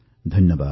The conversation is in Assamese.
ধন্যবাদ